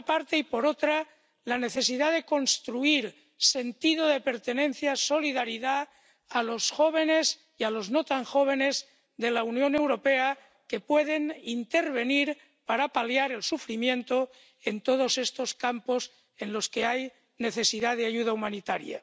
Y, por otra, la necesidad de construir sentido de pertenencia ―de solidaridad― a los jóvenes y a los no tan jóvenes de la Unión Europea, que pueden intervenir para paliar el sufrimiento en todos estos campos en los que hay necesidad de ayuda humanitaria.